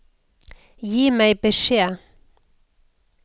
Gi meg beskjed